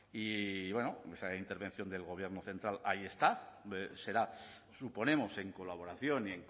y la intervención del gobierno central ahí está será suponemos en colaboración y